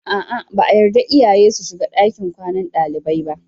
A'a, ba a yarda iyaye su shiga ɗakin kwanan dalibai ba.